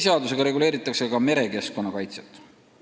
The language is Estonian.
Veeseadusega reguleeritakse ka merekeskkonna kaitset.